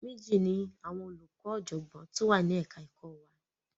Méjì ni àwọn olùkọ́ tó ọ̀jọ̀gbọ́n tó wà ni ẹ̀ka ẹ̀kọ wa.